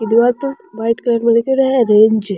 ई दीवार पर व्हाइट कलर में लिखेड़ो है रेंज ।